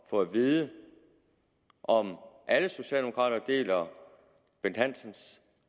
få at vide om alle socialdemokrater deler bent hansens